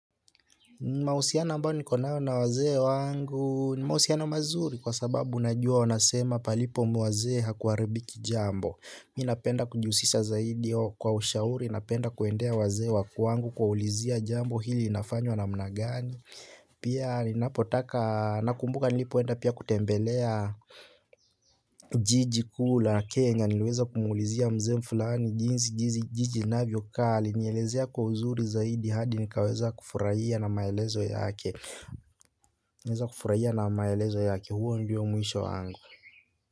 Mahusiano ambayo niko nayo na wazee wangu ni mahusiano mazuri kwa sababu unajua wanasema palipo wazee hakuharibiki jambo ninapenda kujihusisha zaidi au kwa ushauri napenda kuwaendea wazee wa kwangu kuwaulizia jambo hili linafanywa namna gani. Pia ninapotaka, nakumbuka nilipoenda pia kutembelea jiji kuu la kenya, niliweza kumuulizia mzee fulani jinzi jiji inavyokaa alinielezea kwa uzuri zaidi hadi nikaweza kufurahia na maelezo yake naweza kufurahia na maelezo yake huo ndio mwisho wangu.